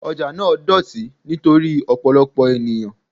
Ọjà náà dọ̀tí nítorí ọ̀pọ̀lọpọ̀ ènìyàn.